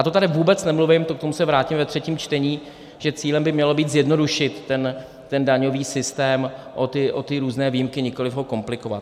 A to tady vůbec nemluvím - k tomu se vrátím ve třetím čtení - že cílem by mělo být zjednodušit ten daňový systém o ty různé výjimky, nikoliv ho komplikovat.